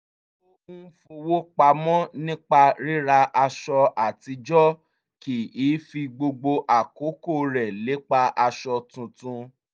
ó ń fowó pamọ́ nípa ríra aṣọ àtijọ́ kì í fi gbogbo àkókò rẹ̀ lépa aṣọ tuntun